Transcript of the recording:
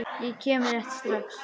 Ég kem rétt strax.